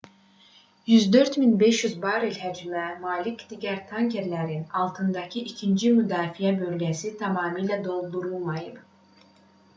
104,500 barel həcmə malik digər tankerlərin altındakı ikinci müdafiə bölgəsi tamamilə doldurulmayıb